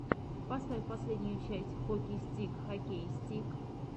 поставь последнюю часть хоки стигг хоккей стигг